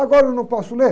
Agora eu não posso ler?